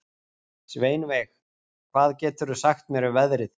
Sveinveig, hvað geturðu sagt mér um veðrið?